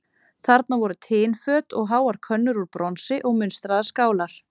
Þarna voru tinföt og háar könnur úr bronsi og munstraðar skálar.